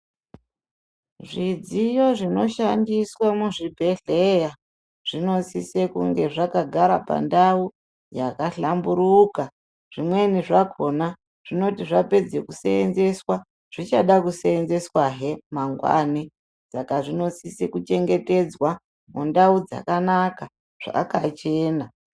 Zvidziyo zvinoshandiswa muzvibhehleya zvinosise kunge zvakagara pandau yakahlamburuka. Zvimweni zvakona zvinoti zvapedze kuseenzeswa zvichada kuseenzeswahe mangwani. Saka zvinosise kuchengetedzwa mundau dzakanaka, zvakachena.